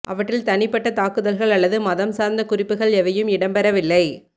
அவற்றில் தனிப்பட்ட தாக்குதல்கள் அல்லது மதம் சார்ந்த குறிப்புகள் எவையும் இடம்பெறவில்லை